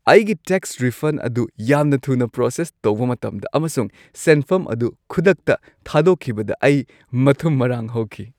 ꯑꯩꯒꯤ tax refund ꯑꯗꯨ ꯌꯥꯝꯅ ꯊꯨꯅ ꯄ꯭ꯔꯣꯁꯦꯁ ꯇꯧꯕ ꯃꯇꯝꯗ, ꯑꯃꯁꯨꯡ ꯁꯦꯟꯐꯝ ꯑꯗꯨ ꯈꯨꯗꯛꯇ ꯊꯥꯗꯣꯛꯈꯤꯕꯗ ꯑꯩ ꯃꯊꯨꯝ-ꯃꯔꯥꯡ ꯍꯧꯈꯤ ꯫